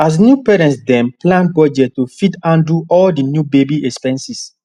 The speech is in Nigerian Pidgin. as new parents dem plan budget to fit handle all the new baby expenses